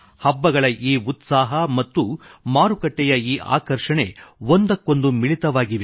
ಹಬ್ಬಗಳ ಈ ಉತ್ಸಾಹ ಮತ್ತು ಮಾರುಕಟ್ಟೆಯ ಈ ಆಕರ್ಷಣೆ ಒಂದಕ್ಕೊಂದು ಮಿಳಿತವಾಗಿವೆ